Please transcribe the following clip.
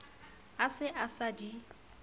a se a sa di